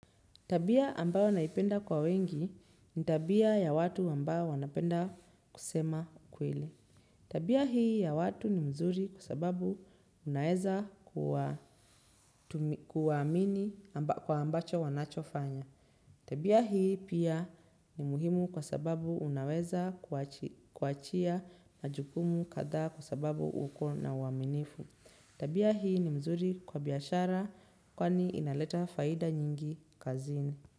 Tabia ambayo naipenda kwa wengi, ni tabia ya watu ambao wanapenda kusema kweli. Tabia hii ya watu ni mzuri kwa sababu unaeza kuwamini kwa ambacho wanacho fanya. Tabia hii, pia, ni muhimu kwa sababu unaweza kuachia na jukumu kathaa kwa sababu uko na uaminifu. Tabia hii ni mzuri kwa biashara, kwani inaleta faida nyingi kazini.